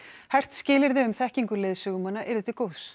hert skilyrði um þekkingu leiðsögumanna yrðu til góðs